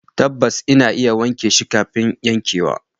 Tabbas, ina wanke shi kafin yankewa